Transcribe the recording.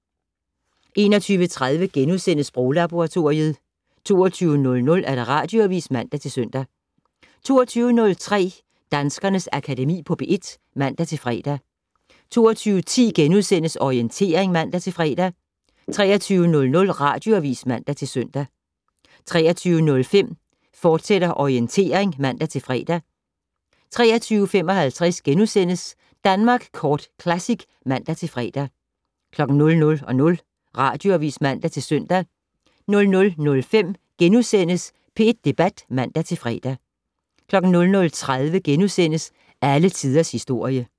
21:30: Sproglaboratoriet * 22:00: Radioavis (man-søn) 22:03: Danskernes Akademi på P1 (man-fre) 22:10: Orientering *(man-fre) 23:00: Radioavis (man-søn) 23:05: Orientering, fortsat (man-fre) 23:55: Danmark Kort Classic *(man-fre) 00:00: Radioavis (man-søn) 00:05: P1 Debat *(man-fre) 00:30: Alle Tiders Historie *